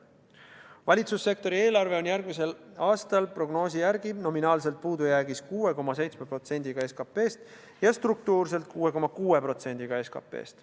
Valitsussektori eelarve on järgmisel aastal prognoosi järgi nominaalselt puudujäägis 6,7% SKP-st ja struktuurselt 6,6% SKP-st.